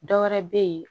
Dɔ wɛrɛ bɛ ye